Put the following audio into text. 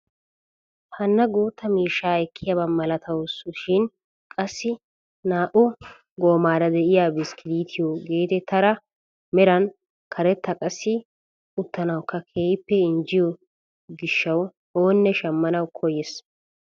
Hana guutta miishshaa ekkiyaaba malatawus shin qassi naa"u goomara de'iyaa bisikiliitiyoo getettiyaara meran karetta qassi uttanawukka keehippe injettiyoo giishshawu oonne shammanawu koyyees!